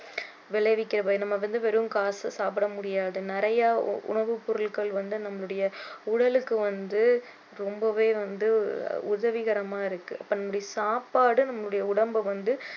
விளைவிக்கிறத நம்ம வந்து வெறும் காசை சாப்பிட முடியாது நிறைய உணவுப் பொருட்கள் வந்து நம்மளுடைய உடலுக்கு வந்து ரொம்பவே வந்து உதவிகரமா இருக்கு நம்மளுடைய சாப்பாடு நம்மளுடைய உடம்ப வந்து